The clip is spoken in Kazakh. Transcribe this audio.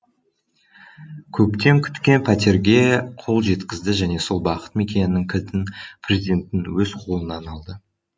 көптен күткен пәтерге қол жеткізді және сол бақыт мекенінің кілтін президенттің өз қолынан алды